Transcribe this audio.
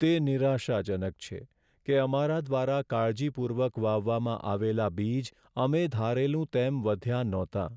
તે નિરાશાજનક છે કે અમારા દ્વારા કાળજીપૂર્વક વાવવામાં આવેલા બીજ અમે ધારેલું તેમ વધ્યાં નહોતાં.